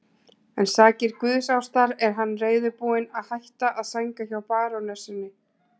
En sakir guðsástar er hann reiðubúinn að hætta að sænga hjá barónessunni.